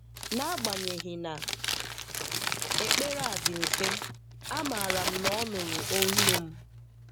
N'agbanyeghị na ekpere a dị mfe, amaara m na ọ nụrụ ọiụ m.